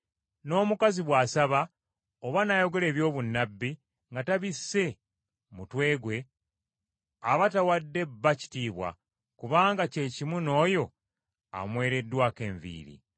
N’omukazi bw’asaba oba n’ayogera eby’obunnabbi nga tabisse mutwe gwe aba tawadde bba kitiibwa kubanga kyekimu n’oyo amwereddwako enviiri.